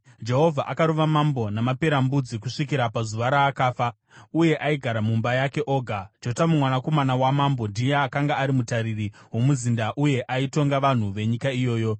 Jehovha akarova mambo namaperembudzi kusvikira pazuva raakafa, uye aigara mumba yake oga. Jotamu mwanakomana wamambo ndiye akanga ari mutariri womuzinda uye aitonga vanhu venyika iyoyo.